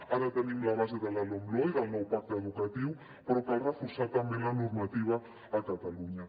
ara tenim la base de la lomloe del nou pacte educatiu però cal reforçar també la normativa a catalunya